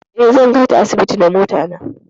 Eh, zan kai ta asibiti da mota ta ne.